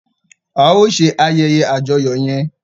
A o ṣe ayeye àjọyọ yẹn!